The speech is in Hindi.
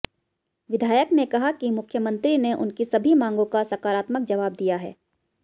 विधायक ने कहा कि मुख्यमंत्री ने उनकी सभी मांगों का सकारात्मक जवाब दिया है